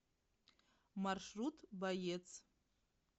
маршрут боец